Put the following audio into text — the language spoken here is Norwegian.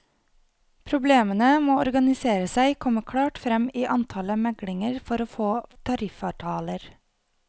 Problemene med å organisere seg kommer klart frem i antallet meglinger for å få tariffavtaler.